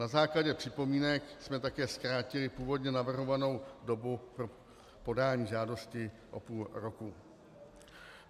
Na základě připomínek jsme také zkrátili původně navrhovanou dobu pro podání žádosti o půl roku.